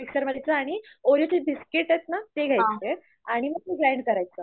mixer आणि ओरिओच biscuit आहेत ना ते घ्यायचं आणि मग ते ग्राईंग करायचं